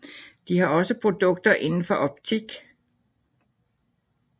De har også produkter indenfor optik